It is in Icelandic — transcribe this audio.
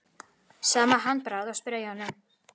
Sama handbragð á sprengjum